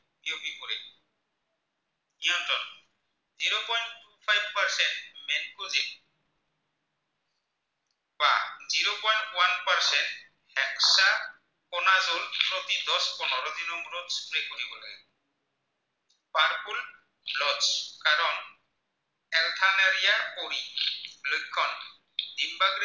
দিন বাগৰে